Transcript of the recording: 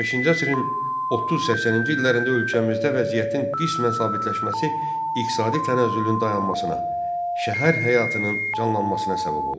15-ci əsrin 30-80-ci illərində ölkəmizdə vəziyyətin qismən sabitləşməsi iqtisadi tənəzzülün dayanmasına, şəhər həyatının canlanmasına səbəb oldu.